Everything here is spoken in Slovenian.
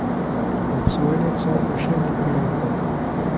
Obsojenec sodbe še ni prejel.